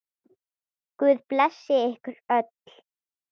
Guð blessi ykkur öll.